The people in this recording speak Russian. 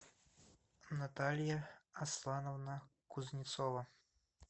наталья аслановна кузнецова